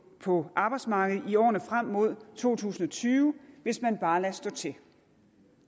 på arbejdsmarkedet i årene frem mod to tusind og tyve hvis man bare lader stå til